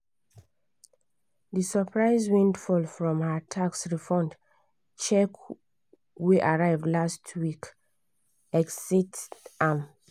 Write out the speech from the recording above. d surprise windfall from her tax refund check wey arrive last week excite am.